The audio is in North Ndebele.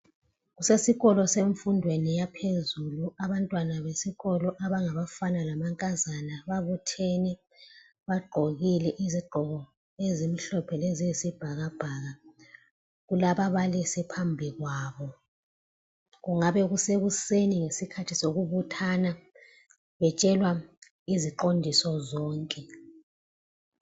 Kusikolweni semfundweni yaphezulu abantwana besikolo abangabafana lamankazana babuthene bagqokile izigqoko ezimhlophe leziyisibhakabhaka kulababalisi phambi kwabo kungabe kusekuseni ngezikhathi zokubuthana betshelwa iziqondiso zonke.